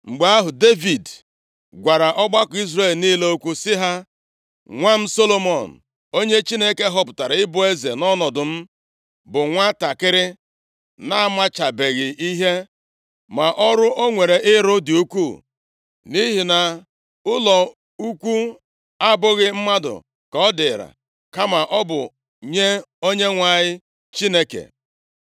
Mgbe ahụ, Devid gwara ọgbakọ Izrel niile okwu sị ha, “Nwa m Solomọn, onye Chineke họpụtara ịbụ eze nʼọnọdụ m, bụ nwantakịrị na-amachabeghị ihe. Ma ọrụ o nwere ịrụ dị ukwuu, nʼihi na ụlọ ukwu a abụghị mmadụ ka ọ dịrị, kama ọ bụ nye Onyenwe anyị Chineke.